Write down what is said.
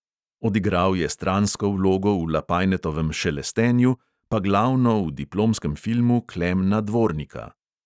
Odigral je stransko vlogo v lapajnetovem šelestenju, pa glavno v diplomskem filmu klemna dvornika.